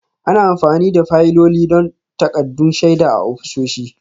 Ana amfani da fayiloli don takaddun shaida a ofisoshi